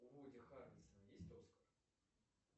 у вуди харрельсон есть оскар